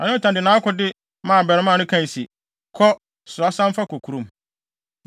Na Yonatan de nʼakode maa abarimaa no kae se, “Kɔ, soa san fa kɔ kurom.”